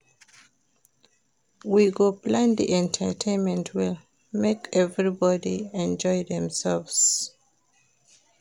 We go plan di entertainment well, make everybodi enjoy demselves.